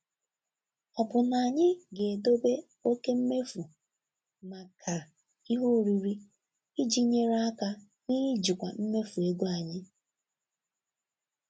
Ọ̀ bụ na anyị ga-edobe oke mmefu maka ihe oriri iji nyere aka n'ijikwa mmefu ego anyị?